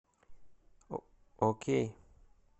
окей